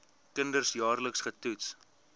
kinders jaarliks getoets